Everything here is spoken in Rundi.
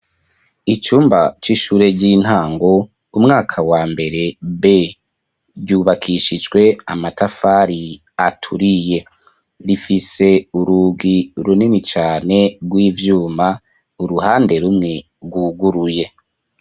Icumba c'ishure ry'intango umwaka wa mbere be ryubakishijwe amatafari aturiye rifise urugi runini cane rw'ivyuma uruhande rumwe rwuguruye.